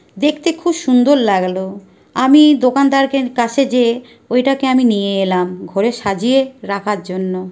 দেখতে খুব সুন্দর লাগলো আমি এই দোকানদারকে কাছে যেয়ে ওই টাকে আমি নিয়ে এলাম। ঘরে সাজিয়ে রাখার জন্য।